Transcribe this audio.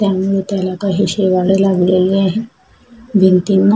त्यामुळे त्याला काही शेवाळ लागलेले आहे भिंतींना.